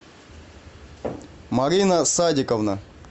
марина садиковна